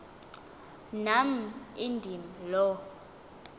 nam indim lo